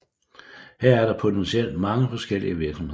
Her er der potentielt mange forskellige virksomheder